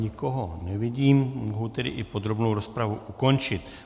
Nikoho nevidím, mohu tedy i podrobnou rozpravu ukončit.